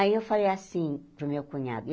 Aí eu falei assim para o meu cunhado.